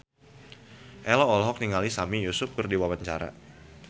Ello olohok ningali Sami Yusuf keur diwawancara